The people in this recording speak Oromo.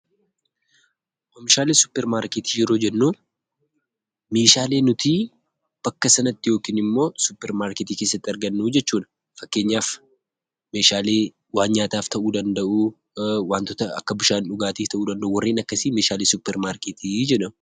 Oomishaalee suuparmarkeetii yeroo jennuu meeshaalee nutii bakka sanatti yookin immoo suparmarkeetii keessatti argannuu jechuudha. Fakkeenyaf meeshaalee waan nyaataaf ta'uu danda'uu, wantota akka bishaan dhugaatif ta'uu danda'u, warreen akkasii meeshaalee suuparmarkeetii jedhamu.